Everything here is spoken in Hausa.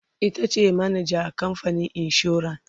itace manajan kamfanin insuran